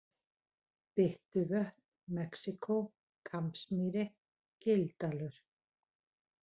Byttuvötn, Mexíkó, Kambsmýri, Gildalur